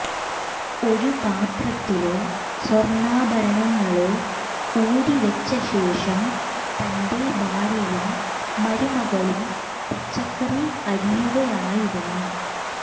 ഒരു പാത്രത്തില് സ്വര്ണ്ണാഭരണങ്ങള് ഊരി വെച്ച ശേഷം തന്റെ ഭാര്യയും മരുമകളും പച്ചക്കറി അരിയുകയായിരുന്നു